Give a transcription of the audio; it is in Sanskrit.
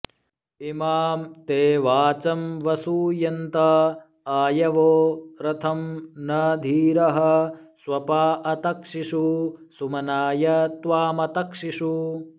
इमां ते वाचं वसूयन्त आयवो रथं न धीरः स्वपा अतक्षिषुः सुम्नाय त्वामतक्षिषुः